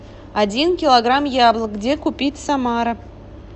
один килограмм яблок где купить самара